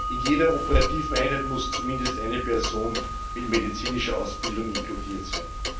In jeder operativen Einheit muss zumindest eine Person mit medizinischer Ausbildung inkludiert sein.